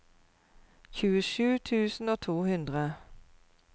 tjuesju tusen og to hundre